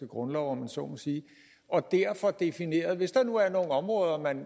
grundlov om jeg så må sige og der får defineret hvis der nu er nogle områder man